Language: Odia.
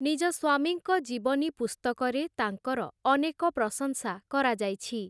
ନିଜ ସ୍ୱାମୀଙ୍କ ଜୀବନୀ ପୁସ୍ତକରେ, ତାଙ୍କର ଅନେକ ପ୍ରଶଂସା କରାଯାଇଛି ।